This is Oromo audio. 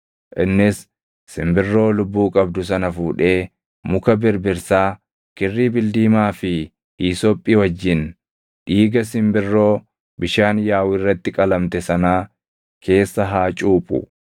Innis simbirroo lubbuu qabdu sana fuudhee muka birbirsaa, kirrii bildiimaa fi hiisophii wajjin dhiiga simbirroo bishaan yaaʼu irratti qalamte sanaa keessa haa cuuphu.